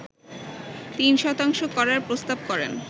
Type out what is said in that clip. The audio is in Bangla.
৩ শতাংশ করার প্রস্তাব করেন